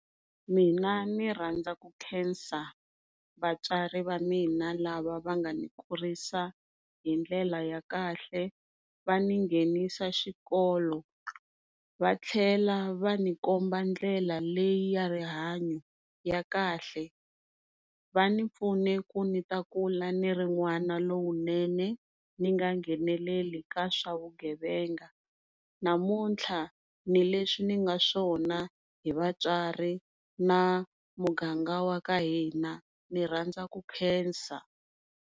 Mina ndzi rhandza ku nkhensa vatswari Vamina lava vangani kurisa hi ndlela ya kahle, va ndzi nghenisa xikolo vatlhela va ndzi komba ndlela leyi ya rihanyo ra kahle. Va ndzi pfune ku ni ta kula niri n'wana lowunene ndzi nga ngheneleli ka swa vugevenga, namuntlha ni leswi ndzi nga swona hi vatswari na muganga wa ka hina ndzi rhandwa ku nkhensa.